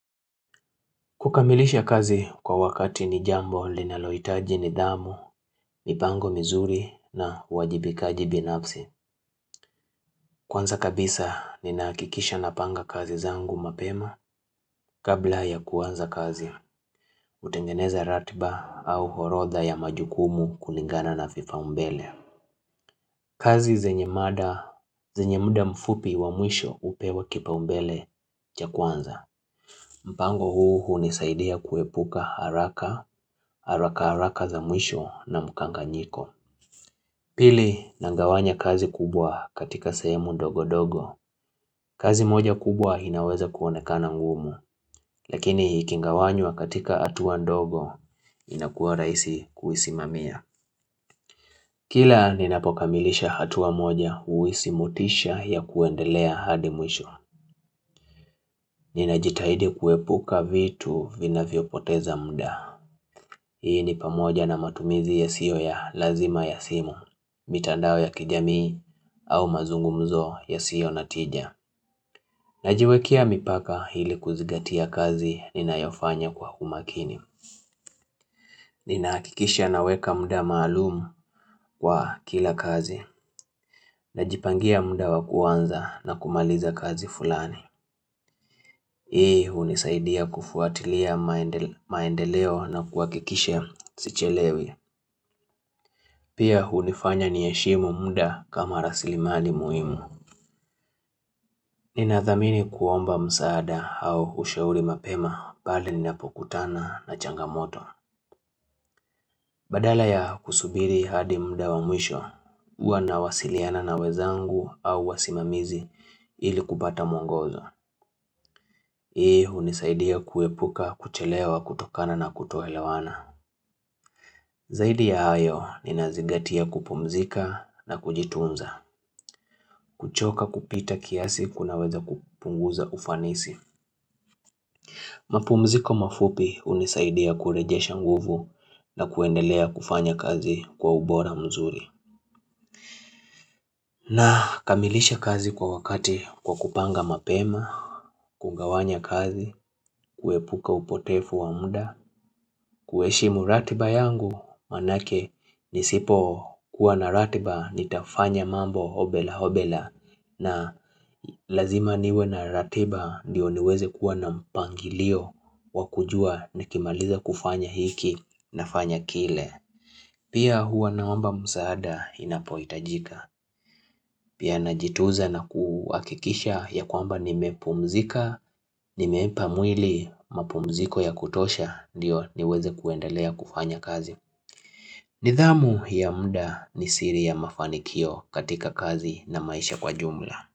Kukamilisha kazi kwa wakati ni jambo linalohitaji nidhamu, mipango mizuri na uwajibikaji binafsi. Kwanza kabisa ninahakikisha napanga kazi zangu mapema kabla ya kuanza kazi. Utengeneza ratiba au orodha ya majukumu kulingana na vipaumbele. Kazi zenye mada, zenye muda mfupi wa mwisho upewa kipaumbele cha kwanza. Mpango huu hunisaidia kuepuka haraka, haraka haraka za mwisho na mkanganyiko Pili nagawanya kazi kubwa katika sahemu ndogo ndogo kazi moja kubwa inaweza kuonekana ngumu Lakini ikigawanywa katika atuwa ndogo inakuwa rahisi kuisimamia Kila ninapokamilisha hatua moja huhisi motisha ya kuendelea hadi mwisho Ninajitahidi kuepuka vitu vinavyo poteza muda Hii ni pamoja na matumizi yasiyo ya lazima ya simu, mitandao ya kijamii au mazungumzo yasiyo na tija. Najiwekea mipaka ili kuzingatia kazi ninayofanya kwa umakini. Ninaakikisha naweka muda maalumu kwa kila kazi. Najipangia muda wa kuanza na kumaliza kazi fulani. Hii unisaidia kufuatilia maendeleo na kuakikisha sichelewi. Pia hunifanya ni heshimu muda kama raslimali muhimu. Ninathamini kuomba msaada au ushauri mapema pale ninapokutana na changamoto. Badala ya kusubiri hadi muda wa mwisho, huwa nawasiliana na wezangu au wasimamizi ili kupata mwongozo. Hii hunisaidia kuepuka, kuchelewa, kutokana na kutoelawana. Zaidi ya hayo ninazingatia kupumzika na kujitunza. Kuchoka kupita kiasi kunaweza kupunguza ufanisi mapumziko mafupi hunisaidia kurejesha nguvu na kuendelea kufanya kazi kwa ubora mzuri na kamilisha kazi kwa wakati kwa kupanga mapema kugawanya kazi, kuepuka upotefu wa muda ku heshimu ratiba yangu, manake nisipo kuwa na ratiba nitafanya mambo hobela hobela na lazima niwe na ratiba ndiyo niweze kuwa na mpangilio wa kujua na kimaliza kufanya hiki nafanya kile Pia huwa naomba msaada inapoitajika Pia najitunza na kuakikisha ya kwamba nimepumzika Nimeipamwili mapumziko ya kutosha ndiyo niweze kuendelea kufanya kazi nidhamu ya muda ni siri ya mafanikio katika kazi na maisha kwa jumla.